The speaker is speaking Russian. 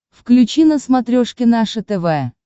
включи на смотрешке наше тв